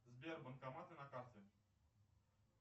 сбер банкоматы на карте